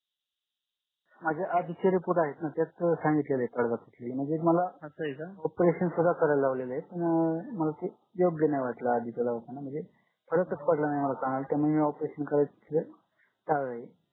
माझा आधीचा report आहेत ना त्यात सांगितलेलं आहे सगळं कि म्हणजे मला operation सुद्धा करायला लावलेला आहे अं मला ते योग्य नाही वाटलं दवाखाना म्हणजे फरकच पडला नाही मला त्यांना operation करायचं टाळलय